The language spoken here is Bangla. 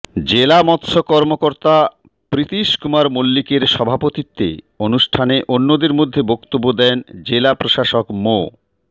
জেলা মৎস্য কর্মকর্তা প্রীতিষ কুমার মল্লিকের সভাপতিত্বে অনুষ্ঠানে অন্যদের মধ্যে বক্তব্য দেন জেলা প্রশাসক মো